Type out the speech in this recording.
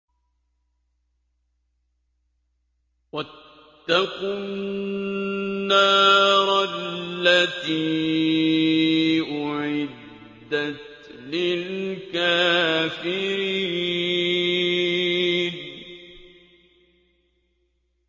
وَاتَّقُوا النَّارَ الَّتِي أُعِدَّتْ لِلْكَافِرِينَ